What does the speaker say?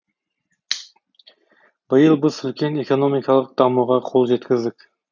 биыл біз үлкен экономикалық дамуға қол жеткіздік